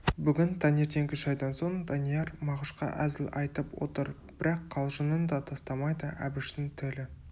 бүгін таңертеңгі шайдан соң данияр мағышқа әзіл айтып отыр бірақ қалжыңын да тастамайды әбіштің тілі